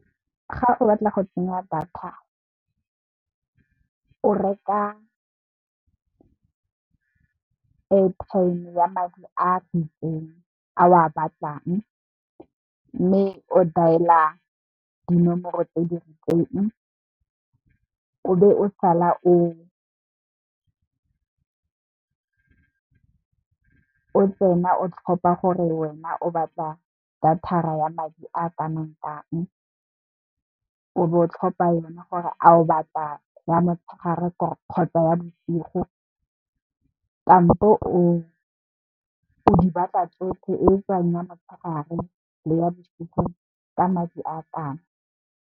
Ga o batla go tsenya data o reka airtime ya madi a itseng, a o a batlang mme, o daela dinomoro tse di rileng, o be o sala o tsena o tlhopha gore wena o batla data ya madi a kanang kang, o bo o tlhopha yona gore a o batla ya motshegare kgotsa ya bosigo, kampo o di batla tsotlhe o tsenya ya motshegare le ya bosigo ka madi a kanang kang.